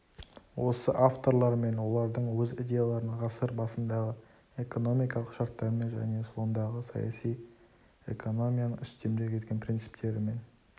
осы авторлар мен олардың өз идеяларын ғасыр басындағы экономикалық шарттармен және сондағы саяси экономияның үстемдік еткен принциптерімен